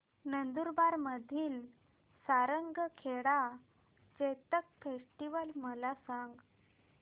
नंदुरबार मधील सारंगखेडा चेतक फेस्टीवल मला सांग